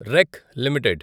రెక్ లిమిటెడ్